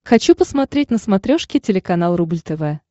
хочу посмотреть на смотрешке телеканал рубль тв